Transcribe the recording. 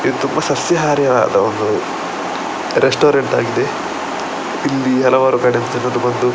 ಇದು ತುಂಬ ಸಸ್ಯಹಾರಿಯಾದ ಒಂದು ರೆಸ್ಟೋರೆಂಟ್‌ ಆಗಿದೆ ಇಲ್ಲಿ ಹಲವಾರು ಕಡೆದು ಜನರು ಬಂದು --